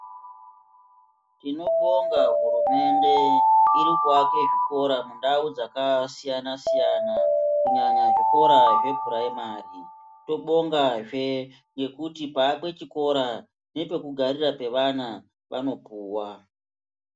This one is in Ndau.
Tinobonga hurumende iri kuwaka zvikora mundau dzakasiyana siyana kunyanya zvikora zvepuraimari tobonga zve ngekuti paakwe chikora ngepekugarira pevana vanopuwa